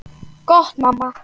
Gott mamma.